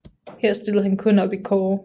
Her stillede han kun op i kårde